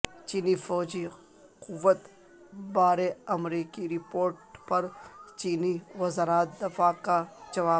چینی فوجی قوت بارے امریکی رپورٹ پر چینی وزارت دفاع کا جواب